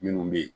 Minnu bɛ yen